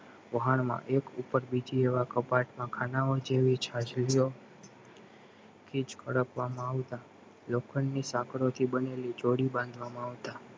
વહાણમાં એક ઉપર બીજી એવા કપાત માં ખાનાઓ જેવી ચચારિયોઓ કિજ કડપ વામાં આવતા લોખંડની સાંકળ બનેલી જોડે બાંધવામાં આવતા